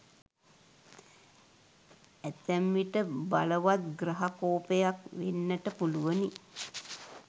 ඇතැම් විට බලවත් ග්‍රහ කෝපයක් වෙන්නට පුළුවනි.